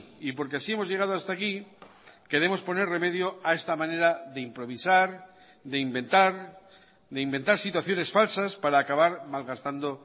y porque así hemos llegado hasta aquí queremos poner remedio a esta manera de improvisar de inventar de inventar situaciones falsas para acabar malgastando